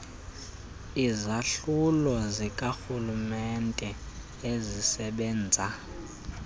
izahlulo zikarhulumenete ezisebenza